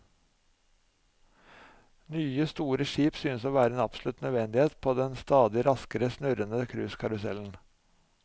Nye store skip synes å være en absolutt nødvendighet på den stadig raskere snurrende cruisekarusellen.